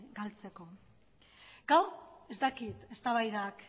galtzeko gaur ez dakit eztabaidak